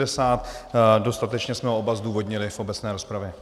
Dostatečně jsme ho oba zdůvodnili v obecné rozpravě.